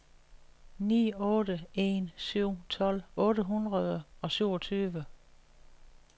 ni otte en syv tolv otte hundrede og syvogtyve